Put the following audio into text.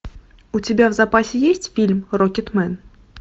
у тебя в запасе есть фильм рокетмен